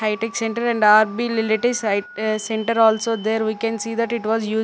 high-tech centre and center also there we can see that it was use--